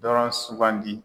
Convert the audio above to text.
Dɔrɔn sugandi.